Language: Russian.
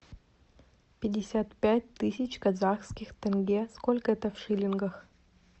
пятьдесят пять тысяч казахских тенге сколько это в шиллингах